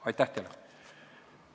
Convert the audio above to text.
Aitäh teile!